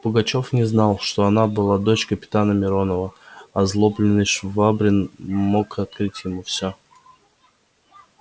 пугачёв не знал что она была дочь капитана миронова озлобленный швабрин мог открыть ему всё